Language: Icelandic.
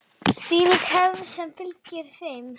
Þvílík hefð sem fylgir þeim.